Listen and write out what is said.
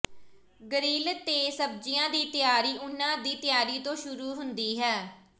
grill ਤੇ ਸਬਜ਼ੀਆਂ ਦੀ ਤਿਆਰੀ ਉਹਨਾਂ ਦੀ ਤਿਆਰੀ ਤੋਂ ਸ਼ੁਰੂ ਹੁੰਦੀ ਹੈ